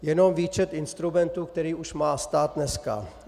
Jenom výčet instrumentů, které už má stát dneska.